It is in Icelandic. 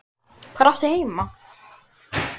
Hvar áttu heima?